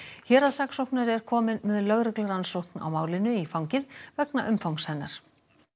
héraðssaksóknari er kominn með lögreglurannsókn á málinu í fangið vegna umfangs hennar